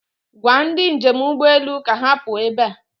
Gwa ndị njem ụgbọelu ka ha pụọ ebe a.